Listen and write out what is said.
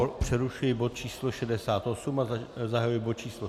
Ano, přerušuji bod číslo 68 a zahajuji bod číslo